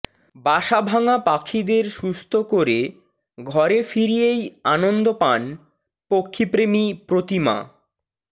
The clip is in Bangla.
বাসাভাঙা পাখিদের সুস্থ করে ঘরে ফিরিয়েই আনন্দ পান পক্ষীপ্রেমী প্রতিমা